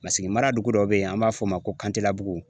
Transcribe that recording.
Masigi mara dugu dɔ be yen, an b'a fɔ o ma ko kantela bugu.